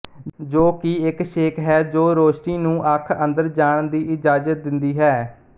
ਜੋ ਕਿ ਇੱਕ ਛੇਕ ਹੈ ਜੋ ਰੌਸ਼ਨੀ ਨੂੰ ਅੱਖ ਅੰਦਰ ਜਾਣ ਦੀ ਇਜਾਜ਼ਤ ਦਿੰਦੀ ਹੈ